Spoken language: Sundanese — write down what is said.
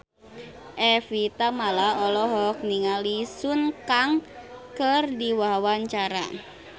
Evie Tamala olohok ningali Sun Kang keur diwawancara